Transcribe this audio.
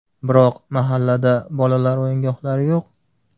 Biroq mahallada bolalar o‘yingohlari yo‘q.